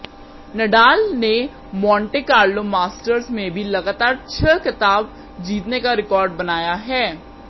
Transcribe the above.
Nadal ने Monte Carlo Masters में भी लगातार छह खिताब जीतने का रिकार्ड बनाया है